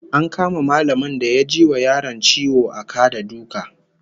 An kama mallamin da ya ji wa yaron ciwo a ka da duka